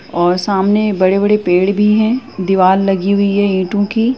और सामने बड़े-बड़े पेड़ भी है। दीवाल लगी हुयी है ईटों की।